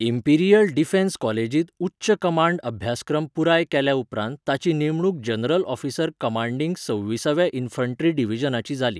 Imperial defence कॉलेजींत उच्च command अभ्यासक्रम पुराय केल्या उपरांत ताची नेमणूक जनरल ऑफिसर कमांडिंग सव्वीसव्या इन्फंट्री डिव्हिजनाची जाली.